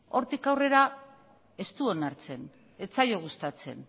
hortik aurrera ez du onartzen ez zaio gustatzen